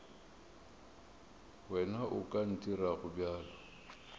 wena o ka ntirago bjalo